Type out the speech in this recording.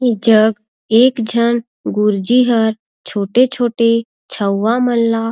एजग एक झन गुरजी ह छोटे-छोटे छऊवा मन ल--